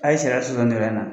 A ye sariya sɔsɔ nin yɔrɔ in na